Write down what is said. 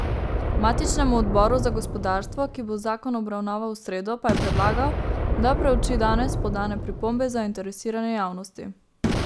Matičnemu odboru za gospodarstvo, ki bo zakon obravnaval v sredo, pa je predlagal, da preuči danes podane pripombe zainteresirane javnosti.